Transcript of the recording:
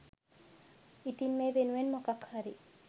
ඉතින් මේ වෙනුවෙන් මොකක්හරි